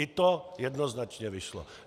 I to jednoznačně vyšlo.